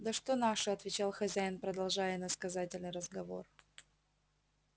да что наши отвечал хозяин продолжая иносказательный разговор